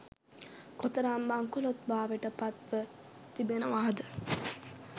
කොතරම් බංකොළොත් භාවයට පත්ව තිබෙනවාද